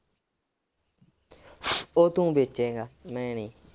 ਉਹ ਤੂੰ ਵੇਚੇਂਗਾ ਮੈਂ ਨੀ।